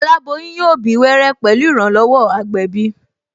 Aláboyún yóò bí wẹ́rẹ́ pẹ̀lú ìrànlọ́wọ́ agbẹ̀bí